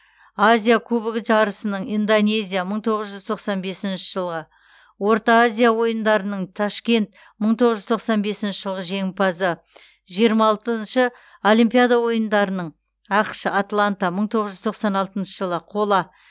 азия кубогі жарысының индонезия мың тоғыз жүз тоқсан бесінші жылғы орта азия ойындарының ташкент мың тоғыз жүз тоқсан бесінші жылғы жеңімпазы жиырма алтыншы олимпиада ойындарының ақш атланта мың тоғыз жүз тоқсан алтыншы жылы қола